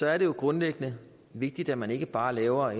er det jo grundlæggende vigtigt at man ikke bare laver